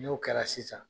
N'o kɛra sisan